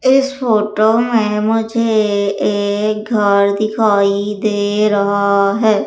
इस फोटो में मुझे एक घर दिखाई दे रहा है।